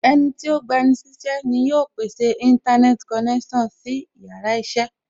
Ẹnití ó gba ni sí iṣẹ́ ni yóò pèsè Íńtánẹ́ẹ̀tì konẹ́sàn sí yàrá iṣẹ́